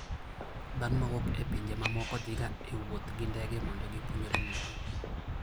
Dhano mawuok e pinje mamoko dhiga e wuoth gi ndege mondo gipuonjre Muma.